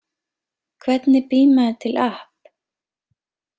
Hvernig býr maður til app.